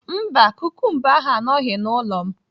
Mba, kukumba ahụ anọghị n'ụlọ m